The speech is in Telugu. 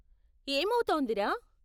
ఏమౌతోంది రా?